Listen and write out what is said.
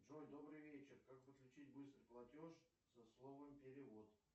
джой добрый вечер как подключить быстрый платеж со словом перевод